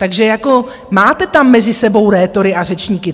Takže jako máte tam mezi sebou rétory a řečníky.